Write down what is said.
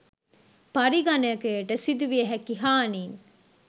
පරිගණකයට සිදුවිය හැකි හානීන්